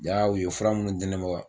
Jaa u ye fura minnu di ne ma